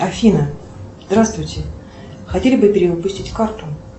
афина здравствуйте хотели бы перевыпустить карту